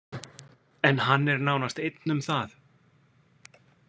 En hann er nánast einn um það.